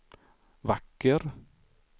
vacker